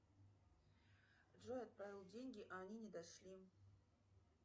джой отправил деньги а они не дошли